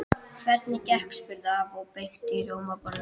Hvernig gekk? spurði afi og beit í rjómabollu.